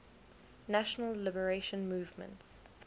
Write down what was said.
national liberation movements